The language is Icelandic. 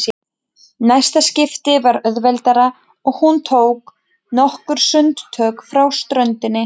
Næsta skipti var auðveldara og hún tók nokkur sundtök frá ströndinni.